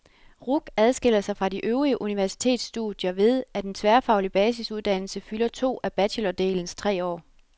RUC adskiller sig fra de øvrige universitetsstudier ved, at en tværfaglig basisuddannelse fylder to af bachelordelens tre år.